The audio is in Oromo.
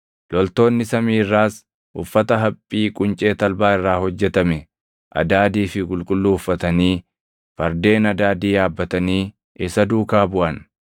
Loltoonni samii irraas uffata haphii quncee talbaa irraa hojjetame adaadii fi qulqulluu uffatanii, fardeen adaadii yaabbatanii isa duukaa buʼan.